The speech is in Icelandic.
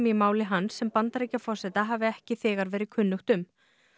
í máli hans sem Bandaríkjaforseta hafi ekki þegar verið kunnugt um